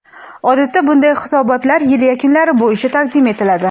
odatda bunday hisoblatlar yil yakunlari bo‘yicha taqdim etiladi.